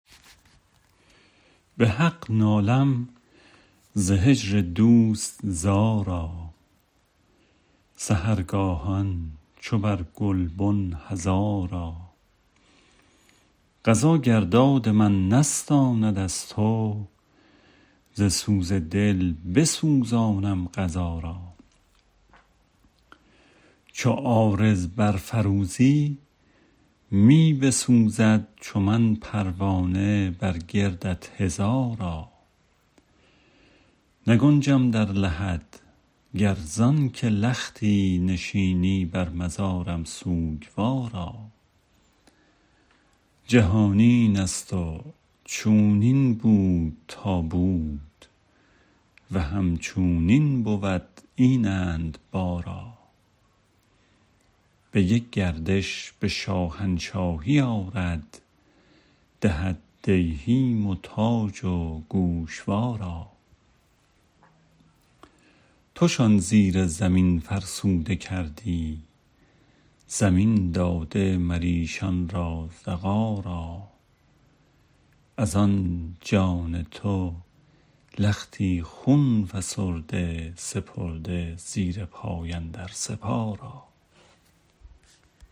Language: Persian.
به حق نالم ز هجر دوست زارا سحرگاهان چو بر گلبن هزارا قضا گر داد من نستاند از تو ز سوز دل بسوزانم قضا را چو عارض برفروزی می بسوزد چو من پروانه بر گردت هزارا نگنجم در لحد گر زان که لختی نشینی بر مزارم سوگوارا جهان این است و چونین بود تا بود و همچونین بود اینند بارا به یک گردش به شاهنشاهی آرد دهد دیهیم و تاج و گوشوارا توشان زیر زمین فرسوده کردی زمین داده مر ایشان را زغارا از آن جان تو لختی خون فسرده سپرده زیر پای اندر سپارا